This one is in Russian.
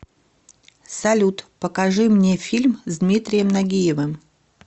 салют покажи мне фильм с дмитрием нагиевым